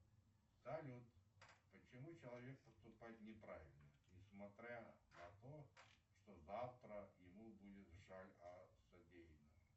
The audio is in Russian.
салют почему человек поступает неправильно несмотря на то что завтра ему будет жаль о содеянном